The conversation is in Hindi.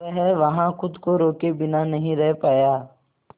वह वहां खुद को रोके बिना नहीं रह पाया